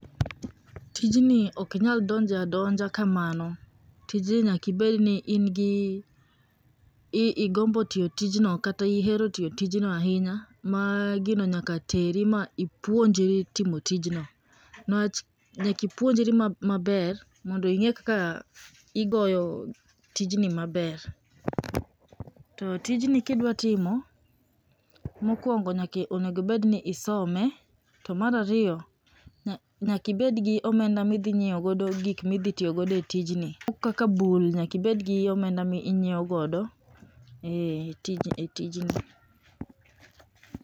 Tijni okinyal donje adonja kamano. Tijni nyaki bedni ingi, ii igombo tio tijno, kata ihero tio tijno ahinya, ma gino nyaka teri ma ipwonjri timo tijno. Newach, nyak puonjri mab maber, mondo ing'e kaka igoyo tijni maber. To tijni kidwa timo, mokwongo nyakai onego bedni isome, to marario, nya nyakibegi omenda midhinyieo godo gikmi dhi tiogodo e tijni kaka bul, nyaki bedgi omenda mi inyieo godo eh tij e tijni.